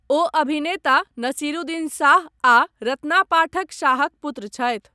ओ अभिनेता नसीरुद्दीन शाह आ रत्ना पाठक शाहक पुत्र छथि।